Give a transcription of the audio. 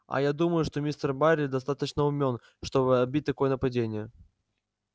а я думаю что мистер байерли достаточно умён чтобы отбить такое нападение